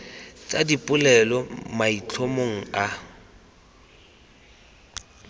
tsa dipolelo mo maitlhomong a